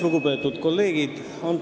Lugupeetud kolleegid!